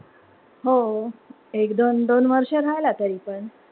हो. एक-दोन दोन वर्ष राहिला तरीपण.